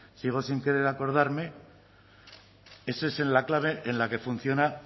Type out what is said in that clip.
sigo sin querer acordarme ese esa en la clave en la que funciona